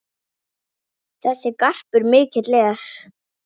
Þessi garpur mikill er.